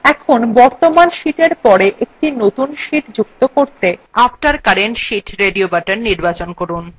এখন বর্তমান sheetএর পর একটি নতুন sheet যুক্ত করতে radio buttona after current sheet নির্বাচন করুন